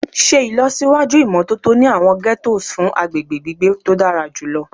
Ṣe ilọsiwaju imototo ni awọn ghettos fun agbegbe gbigbe to dara julọ